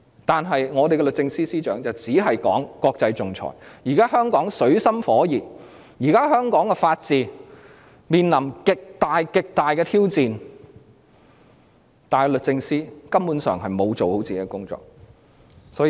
然而，律政司司長只懂談論國際仲裁，香港現在水深火熱，法治面臨極大、極大的挑戰，但律政司司長根本沒有做好自己的工作。